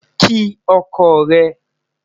kí ọkọ re